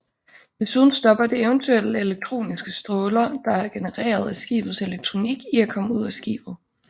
Desuden stopper det eventuelle elektroniske stråler der er genereret af skibets elektronik i at komme ud af skibet